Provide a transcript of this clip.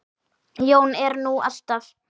Jón er nú alltaf